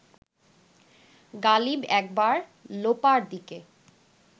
গালিব একবার লোপার দিকে